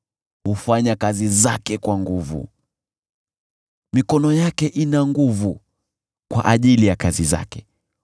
Hufanya kazi zake kwa nguvu, mikono yake ina nguvu kwa ajili ya kazi zake.